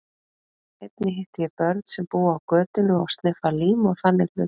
Einnig hitti ég börn sem búa á götunni og sniffa lím og þannig hluti.